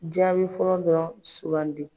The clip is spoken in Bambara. Jaabi fɔlɔ dɔrɔn sugandi.